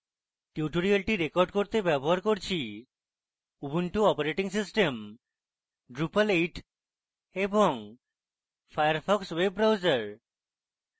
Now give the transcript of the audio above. tutorial record করতে ব্যবহার করছি: উবুন্টু অপারেটিং সিস্টেম drupal 8 এবং ফায়ারফক্স ওয়েব ব্রাউজার